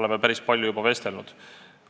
juba päris palju vestelnud.